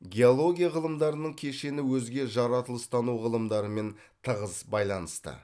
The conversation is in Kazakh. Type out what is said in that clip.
геология ғылымдарының кешені өзге жаратылыстану ғылымдарымен тығыз байланысты